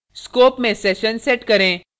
scope में session set करें